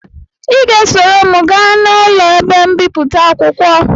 Ị ga-esoro m gaa n'ụlọ ebe mbipụta akwụkwọ